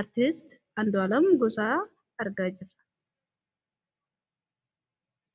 aartisti andoalam busaa argaa jirra